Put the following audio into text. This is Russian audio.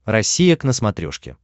россия к на смотрешке